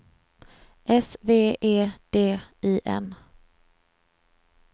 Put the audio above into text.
S V E D I N